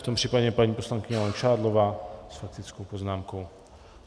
V tom případě paní poslankyně Langšádlová s faktickou poznámkou.